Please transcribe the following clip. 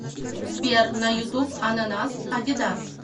сбер на ютуб ананас адидас